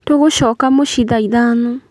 Tũgũcoka mũciĩ thaa ithano